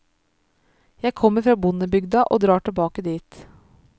Jeg kommer fra bondebygda og drar tilbake dit.